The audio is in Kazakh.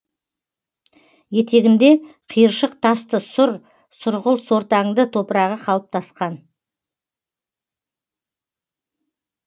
етегінде қиыршық тасты сұр сұрғылт сортаңды топырағы қалыптасқан